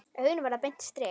Augun verða beint strik.